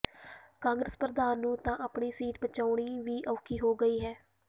ਕਾਂਗਰਸ ਪ੍ਰਧਾਨ ਨੂੰ ਤਾਂ ਆਪਣੀ ਸੀਟ ਬਚਾਉਣੀ ਵੀ ਔਖੀ ਹੋ ਗਈ ਹੈ